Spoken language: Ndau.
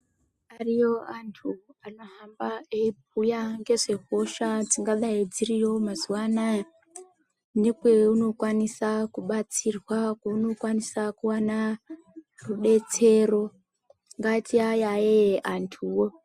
Ariyo antu anohamba eibhuya ngezvehosha dzingadai dziriyo mazuva anaya. Ndikweyo unokwanisa kubatsirwa, kweunokwanisa kuona rubetsero, ngatiayayeye antuwo